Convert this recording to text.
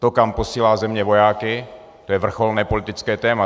To, kam posílá země vojáky, to je vrcholné politické téma.